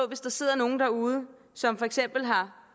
hvis der sidder nogle derude som for eksempel har